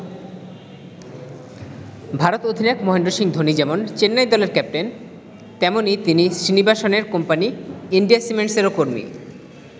ভারত অধিনায়ক মহেন্দ্র সিং ধোনি যেমন চেন্নাই দলের ক্যাপ্টেন, তেমনই তিনি শ্রীনিবাসনের কোম্পানী ইন্ডিয়া সিমেন্টসের কর্মীও।